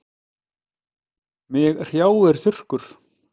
Mig hrjáir þurrkur.